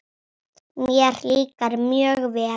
Mér líkar mjög vel.